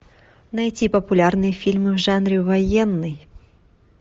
найти популярные фильмы в жанре военный